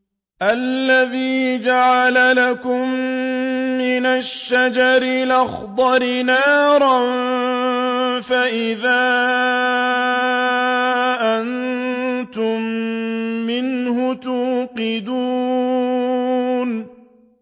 الَّذِي جَعَلَ لَكُم مِّنَ الشَّجَرِ الْأَخْضَرِ نَارًا فَإِذَا أَنتُم مِّنْهُ تُوقِدُونَ